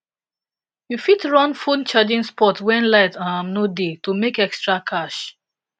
you fit run phone charging spot when light um no dey to make extra cash